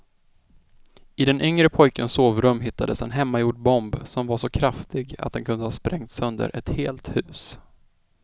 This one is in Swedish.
I den yngre pojkens sovrum hittades en hemmagjord bomb som var så kraftig att den kunde ha sprängt sönder ett helt hus.